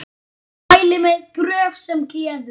Mæli með Gröf sem gleður.